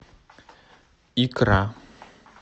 икра